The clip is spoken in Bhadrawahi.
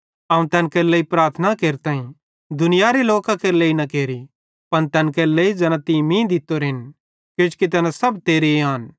अवं तैन केरे लेइ प्रार्थना केरताईं दुनियारे लोकां केरे लेइ न केरि पन तैन केरे लेइ ज़ैना तीं मीं दित्तोरेन किजोकि तैना सब तेरे आन